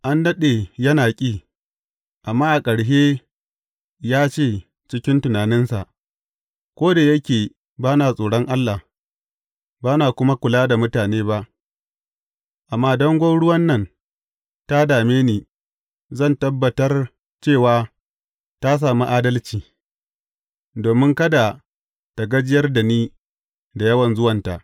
An daɗe yana ƙi, amma a ƙarshe ya ce cikin tunaninsa, Ko da yake ba na tsoron Allah, ba na kuma kula da mutane ba, amma don gwauruwan nan ta dame ni, zan tabbatar cewa ta sami adalci, domin kada tă gajiyar da ni, da yawan zuwanta.’